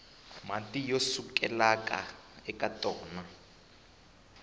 mati ya sukelaka eka tona